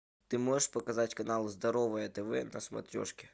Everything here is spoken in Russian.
ты можешь показать канал здоровое тв на смотрешке